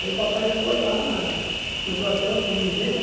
Aí o papai foi lá na no quartel para me ver, né?